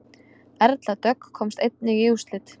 Erla Dögg komst einnig í úrslit